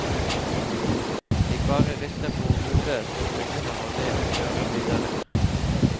Jeg bare rister på hodet og begynner å le og kjører videre.